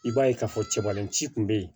I b'a ye k'a fɔ cɛbalenci kun bɛ yen